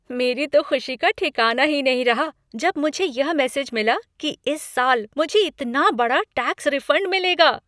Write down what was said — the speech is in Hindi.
मेरी तो खुशी का ठिकाना ही नहीं रहा जब मुझे यह मैसेज मिला कि इस साल मुझे इतना बड़ा टैक्स रिफंड मिलेगा।